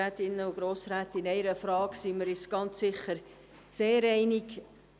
In einer Frage sind wir uns sicher sehr einig.